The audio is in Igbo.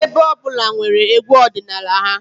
Ebo ọ bụla nwere egwú ọdịnala ha